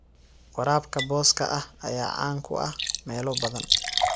Waraabka booska ah ayaa caan ku ah meelo badan.